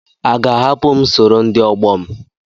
A ga-ahapụ m sọrọ ndi ọgbọ m?